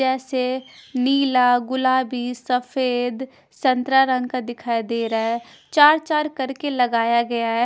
जैसे नीला गुलाबी सफेद संतरा रंग का दिखाई दे रहा है चार चार करके लगाया गया है।